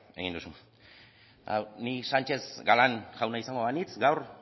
egin duzu ni sánchez galán jauna izango banintz gaur